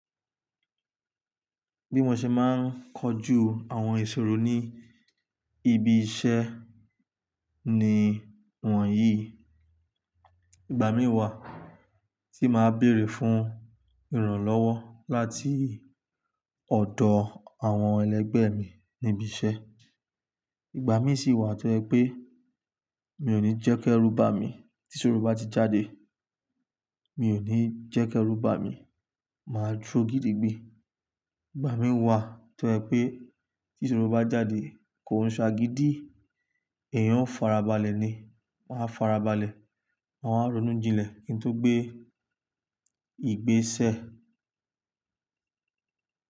Bí mo ṣe máa ń kojú àwọn ìṣòro ní ibi iṣẹ́ ni wọ̀nyíi. Ìgbàmií wà tí màá béèrè fún ìrànlọ́wọ́ láti ọ̀dọ̀ àwọn ẹlẹgbẹ́ mi níbiṣẹ́. Ìgbà mí sì wà tó jẹ́ pé mi ò ní jẹ́kẹ́rúbami tí ìṣòro bá ti jáde. Mi ò ní jẹ́kẹ́rú bá mi, màá dúró gidigbi. Ìgbàmíi wà tó jẹ́ pé tí ìṣòro bá jáde, kò ń ṣ'agidi, èèyàn ó farabalẹ̀ ni. Tí n bá farabalẹ̀ màá wá ronú kí n tó gbé ìgbésẹ̀.